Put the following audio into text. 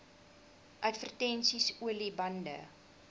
advertensies olie bande